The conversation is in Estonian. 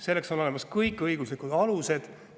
Selleks on olemas kõik õiguslikud alused.